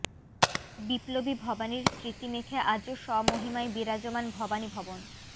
বিপ্লবী ভবানীর স্মৃতি মেখে আজও স্বমহিমায় বিরাজমান ভবানী ভবন